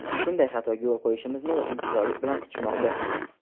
shunday xatoga yo‘l qo‘yishimizni intizorlik bilan kutishmoqda.